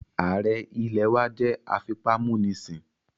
Ààrẹ ilẹ̀ wá jẹ́ afipámúnisìn